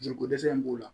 Joli ko dɛsɛ in b'u la